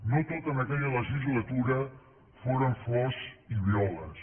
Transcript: no tot en aquella legislatura foren flors i violes